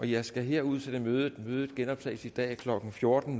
jeg skal her udsætte mødet mødet genoptages i dag klokken fjorten